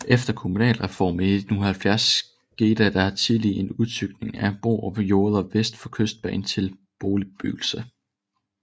Efter kommunalreformen i 1970 skete der tillige en udstykning af Borupgårds jorder vest for Kystbanen til boligbebyggelse